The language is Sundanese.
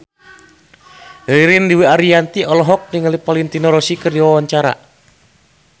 Ririn Dwi Ariyanti olohok ningali Valentino Rossi keur diwawancara